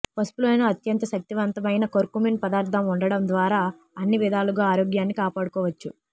పసుపులోని అత్యంత శక్తివంతమైన కర్కుమిన్ పదార్థాం ఉండడం ద్వారా అన్ని విధాలుగా ఆరోగ్యాన్ని కాపాడుకోవచ్చు